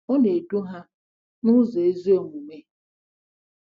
Ọ na-edu ha “n’ụzọ ezi omume.”